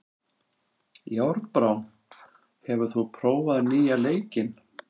Járnbrá, hefur þú prófað nýja leikinn?